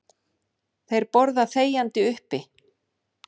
Þeir borða þegjandi uppi.